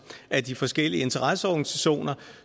af de forskellige interesseorganisationer